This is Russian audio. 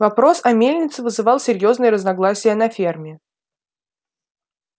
вопрос о мельнице вызывал серьёзные разногласия на ферме